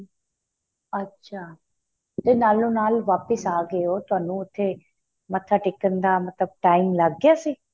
ਅੱਛਾ ਤੇ ਨਾਲੋਂ ਨਾਲ ਵਾਪਿਸ ਆਂ ਗਏ ਹੋ ਤਹਾਨੂੰ ਉਥੇ ਮੱਥਾ ਟੇਕਣ ਦਾ ਮਤਲਬ time ਲੱਗ ਗਿਆ ਸੀ